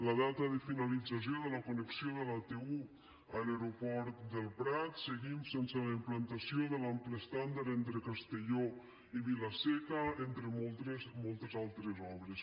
la data de finalització de la connexió de la t un a l’aeroport del prat seguim sense la implantació de l’ample estàndard entre castelló i vila seca entre moltes altres obres